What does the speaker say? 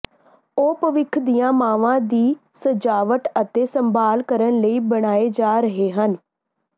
ਉਹ ਭਵਿੱਖ ਦੀਆਂ ਮਾਵਾਂ ਦੀ ਸਜਾਵਟ ਅਤੇ ਸੰਭਾਲ ਕਰਨ ਲਈ ਬਣਾਏ ਜਾ ਰਹੇ ਹਨ